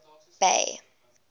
bay